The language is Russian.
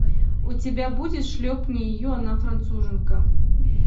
у тебя будет шлепни ее она француженка